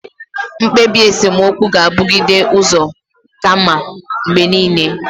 Mkpebi esemokwu gabugide uzo kamma mgbe niile.